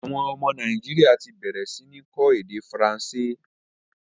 Àwọn ọmọ Nàìjíríà ti bẹ̀rẹ̀ sí ní kọ́ èdè Faransé